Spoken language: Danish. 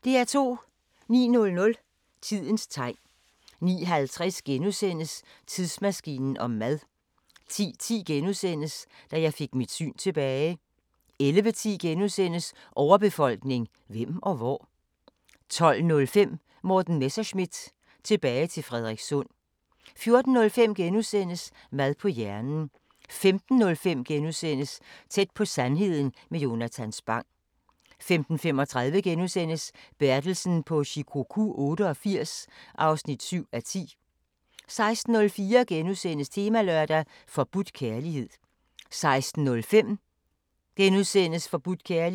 09:00: Tidens Tegn 09:50: Tidsmaskinen om mad * 10:10: Da jeg fik mit syn tilbage * 11:10: Overbefolkning – hvem og hvor? * 12:05: Morten Messerschmidt – tilbage til Frederikssund 14:05: Mad på hjernen * 15:05: Tæt på sandheden med Jonatan Spang * 15:35: Bertelsen på Shikoku 88 (7:10)* 16:04: Temalørdag: Forbudt kærlighed * 16:05: Forbudt kærlighed *